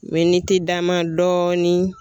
Miniti dama dɔɔnin.